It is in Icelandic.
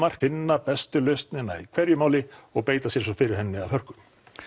finna bestu lausnina í hverju máli og beita sér svo fyrir henni að hörku